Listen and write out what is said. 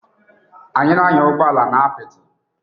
Anyị na-anya ụgbọ ala n'ala apịtị